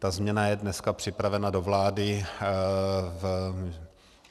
Ta změna je dneska připravena do vlády.